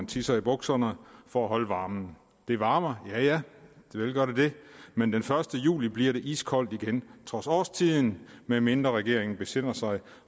tisse i bukserne for at holde varmen det varmer ja ja vel gør det det men den første juli bliver det iskoldt igen trods årstiden medmindre regeringen besinder sig